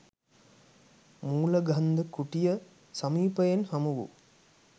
මූලගන්ධ කුටිය සමීපයෙන් හමුවූ